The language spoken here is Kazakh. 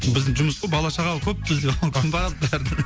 біздің жұмыс қой бала шағалы көп бізде қымбат бәрі